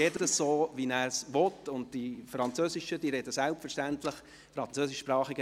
alle dürfen so sprechen, wie sie wollen, und die Französischsprachigen sprechen selbstverständlich Französisch.